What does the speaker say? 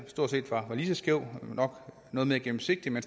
stort set lige så skævt nok noget mere gennemsigtigt men